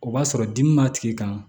O b'a sɔrɔ dimi b'a tigi kan